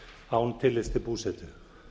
án tillits til búsetu